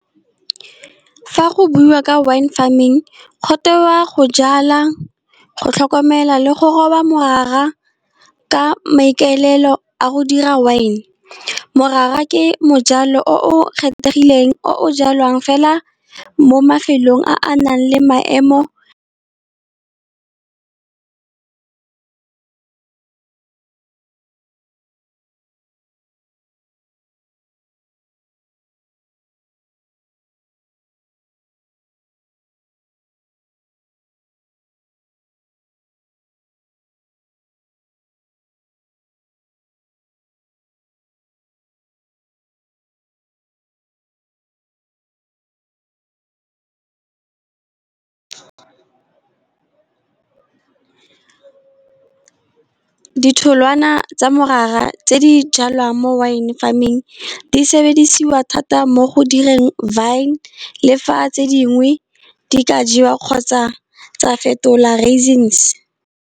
Fa go buiwa ka wine farming, go teiwa go jala, go tlhokomela, le go roba morara ka maikaelelo a go dira wine. Morara ke mojalo o kgethegileng, o jalwang fela mo mafelong a a nang le maemo. Ditholwana tsa morara tse di jalwang mo wine farming di sebediswa thata mo go direng vine, le fa tse dingwe di ka jewa kgotsa tsa fetolwa raisins.